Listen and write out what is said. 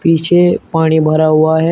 पीछे पानी भरा हुआ है।